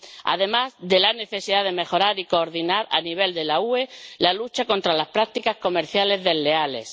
Además, es necesario mejorar y coordinar, a nivel de la UE, la lucha contra las prácticas comerciales desleales.